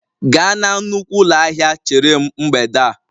Gaa na nnukwu ụlọ ahịa chere m mgbede a!